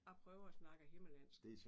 Jeg prøver at snakker himmerlandsk